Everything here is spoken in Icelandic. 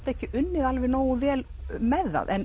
ekki unnið nógu vel með það